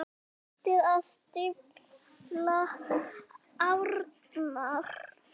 Hættið að stífla árnar.